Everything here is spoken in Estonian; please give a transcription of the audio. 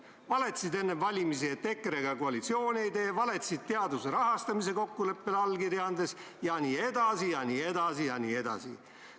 Sa valetasid enne valimisi, et EKRE-ga koalitsiooni ei tee, sa valetasid teaduse rahastamise kokkuleppele allkirja andes jne, jne, jne.